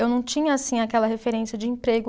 Eu não tinha, assim, aquela referência de emprego.